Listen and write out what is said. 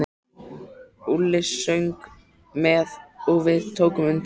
Úlli söng með og við tókum undir.